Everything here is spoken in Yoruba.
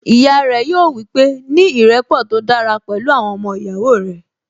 Ìyá rẹ̀ yóò wípé, 'ní ìrẹ́pọ̀ tó dára pẹ̀lú àwọn ọmọ ìyàwó rẹ̀